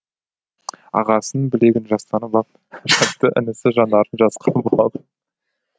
ағасының білегін жастанып ап жатты інісі жанарын жасқа бұлап